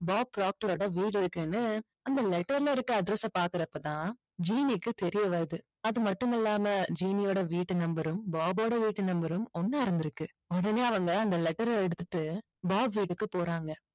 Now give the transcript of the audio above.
Pop ப்ராக்ட்டரோட வீடு இருக்குன்னு அந்த letter ல இருக்க address பாக்குறப்ப தான் ஜீனிக்கு தெரிய வருது. அது மட்டும் இல்லாம ஜீனியோட வீட்டு number ம் பாபோட வீட்டு number ம் ஒண்ணா இருந்துருக்கு. உடனே அவங்க அந்த letter எடுத்துட்டு பாப் வீட்டுக்கு போறாங்க.